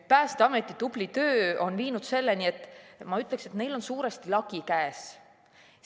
Päästeameti tubli töö on viinud selleni, et, ma ütleksin, neil on lagi suuresti käes.